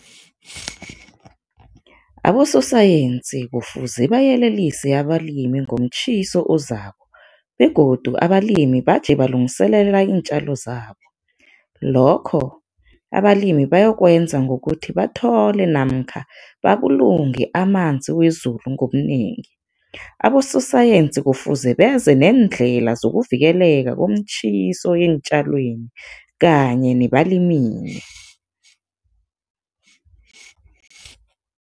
Abososayensi kufuze bayelelise abalimi ngomtjhiso ozako begodu abalimi baje balungiselela iintjalo zabo, lokho abalimi bayokwenza ngokuthi bathole namkha babulunge amanzi wezulu ngobunengi. Abososayensi kufuze beze neendlela zokuvikeleka komtjhiso eentjalweni kanye nebalimini.